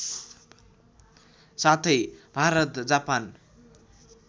साथै भारत जापान